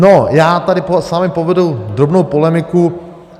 No, já tady s vámi povedu drobnou polemiku.